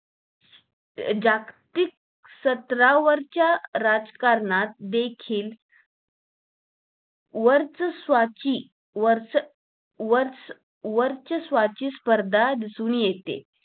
जागतिक सतरावरच्या राजकारणात देखील वर्चस्वाची वर्च वर्च वर्चस्वाची स्पर्धा दिसून येते